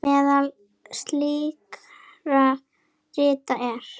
Meðal slíkra rita er